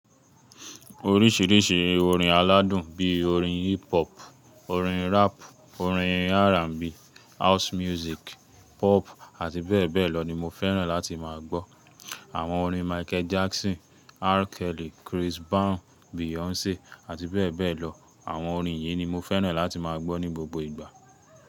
Oríṣìíríṣìí orin aládùn bí orin hip hop, orin rap, orin R&B, house music, pop àtibẹ́bẹ̀lọ ni mo fẹ́ràn láti má a gbọ́. Àwọn orin Michael Jackson, R. Kelly, Chris Brown, Beyonce àti bẹ́bẹ̀lọ. Àwọn orin yìí ni mo fẹ́ràn láti má a gbọ́ ní gbogbo ìgbà.